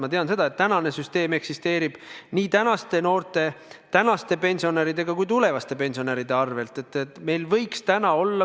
Ma tean seda, et praegune süsteem eksisteerib nii tänaste noorte, tänaste pensionäride kui ka tulevaste pensionäride arvel.